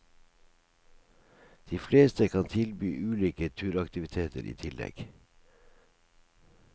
De fleste kan tilby ulike turaktiviteter i tillegg.